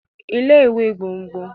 Ilé ìwé gbogbn